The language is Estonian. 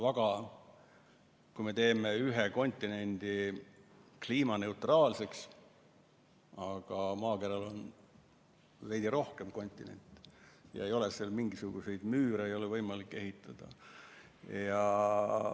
Me võime teha ühe kontinendi kliimaneutraalseks, aga maakeral on veidi rohkem kontinente ja ei ole nende vahele võimalik mingisuguseid müüre ehitada.